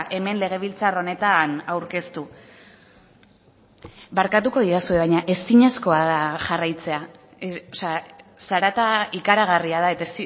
hemen legebiltzar honetan aurkeztu barkatuko didazue baina ezinezkoa da jarraitzea zarata ikaragarria da eta